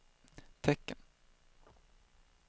tecken